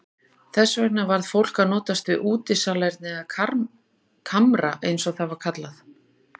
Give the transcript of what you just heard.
Þess vegna varð fólk að notast við útisalerni eða kamra eins og það var kallað.